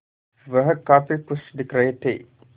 वह काफ़ी खुश दिख रहे थे